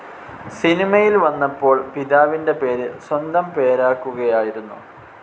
സിനിമയിൽ വന്നപ്പോൾ പിതാവിന്റെ പേര് സ്വന്തം പേരാക്കുകയായിരുന്നു.